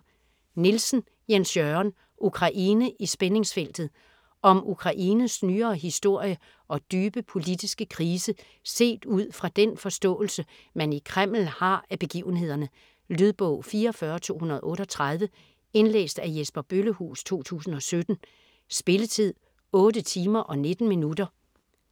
Nielsen, Jens Jørgen: Ukraine i spændingsfeltet Om Ukraines nyere historie og dybe politiske krise set ud fra den forståelse, man i Kreml har af begivenhederne. Lydbog 44238 Indlæst af Jesper Bøllehuus, 2017. Spilletid: 8 timer, 19 minutter.